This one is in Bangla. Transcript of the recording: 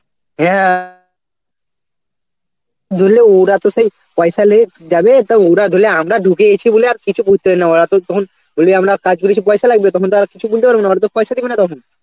হ্যাঁ, গেলে ওরা তো সেই পয়সা লিয়ে যাবে তো ওরা ধরলে আমরা ঢুকে গেছি বলে আর কিছু করতে পারেনা ওরা তো তখন বলবে আমরা কাজ করেছি পয়সা লাগবে তখন তো ওরা কিছু বলতে পারবে না ওরা তো পয়সা দিবে না তখন